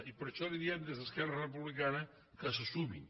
i per això li diem des d’esquerra republicana que se sumin